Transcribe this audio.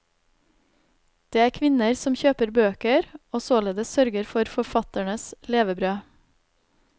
Det er kvinner som kjøper bøker og således sørger for forfatternes levebrød.